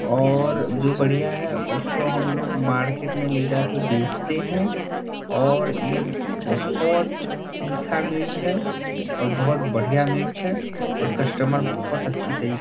और जो बढ़िया है उसको हमलोग मार्केट में ले जा के बेचते हैं और ये बहुत तिक्खा मिर्च है और बहुत बढ़िया मिर्च है और कस्टमर बहुत अच्छी तरी --